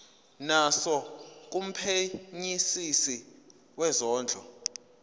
naso kumphenyisisi wezondlo